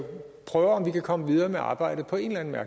prøver om vi kan komme videre med arbejdet på en eller